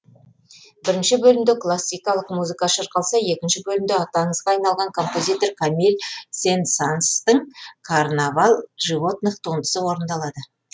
бірінші бөлімде классикалық музыка шырқалса екінші бөлімде аты аңызға айналған композитор камиль сен санстың карнавал животных туындысы орындалады